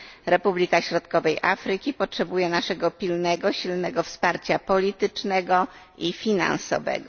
Republika Środkowej Afryki potrzebuje naszego pilnego, silnego wsparcia politycznego i finansowego.